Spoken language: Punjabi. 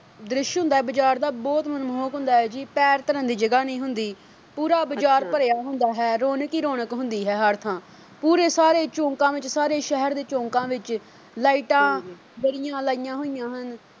ਦ੍ਰਿਸ਼ ਹੁੰਦਾ ਬਾਜ਼ਾਰ ਦਾ ਬਹੁਤ ਮਨਮੋਹਕ ਹੁੰਦਾ ਜੀ ਪੈਰ ਧਰਨ ਦੀ ਜਗ੍ਹਾ ਨਹੀਂ ਹੁੰਦੀ। ਅੱਛਾ, ਪੂਰਾ ਬਾਜ਼ਾਰ ਭਰਿਆ ਹੁੰਦਾ ਹੈ ਰੌਣਕ ਹੀ ਰੌਣਕ ਹੁੰਦੀ ਹੈ ਹਰ ਥਾਂ ਪੂਰੇ ਸਾਰੇ ਚੌਂਕਾ ਵਿੱਚ ਸਾਰੇ ਸ਼ਹਿਰ ਦੇ ਚੌਂਕਾ ਵਿੱਚ lights ਬੜੀਆ ਲਾਈਆਂ ਹੁੰਦੀਆਂ ਹਨ।